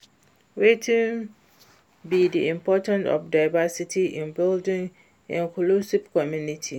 Wetin be di importance of diversity in building inclusive community?